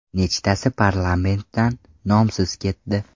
Nechtasi Parlamentdan nomsiz ketdi.